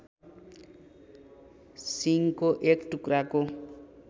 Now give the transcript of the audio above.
सिङको एक टुक्राको